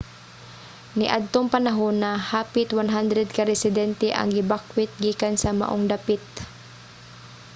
niadtong panahona hapit 100 ka residente ang gibakwet gikan sa maong dapit